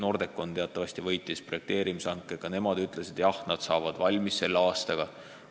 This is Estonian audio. Nordecon teatavasti võitis projekteerimise hanke ja nad ütlesid, et saavad selle valmis aastaga.